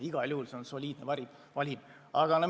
Igal juhul on see soliidne valim.